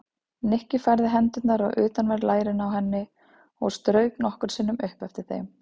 Nikki færði hendurnar á utanverð lærin á henni og strauk nokkrum sinnum upp eftir þeim.